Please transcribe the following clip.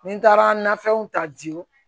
Ni n taara nafɛnw ta di